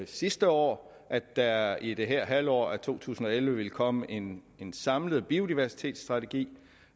sidste år at der i det her halvår af to tusind og elleve ville komme en en samlet biodiversitetsstrategi